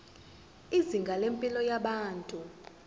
izinga lempilo yabantu